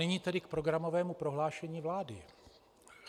Nyní tedy k programovému prohlášení vlády.